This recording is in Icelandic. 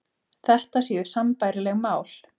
Þetta séu sambærileg mál